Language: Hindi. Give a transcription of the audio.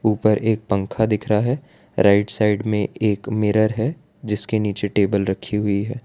ऊपर एक पंखा दिख रहा है राइट साइड में एक मिरर है जिसके नीचे टेबल रखी हुई है।